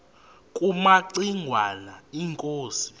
kumaci ngwana inkosi